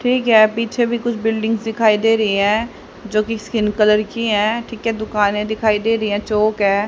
ठीक है पीछे भी कुछ बिल्डिंग दिखाई दे रही है जोकि स्किन कलर की है ठीक है दुकाने दिखाई दे रही है चौक है।